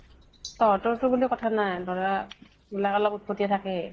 তহঁতৰ তো বুলি কথা নাই, ধৰা লʼৰা অলপ উৎপতীয়া থাকেই ।